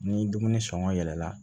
Ni dumuni sɔngɔ yɛlɛla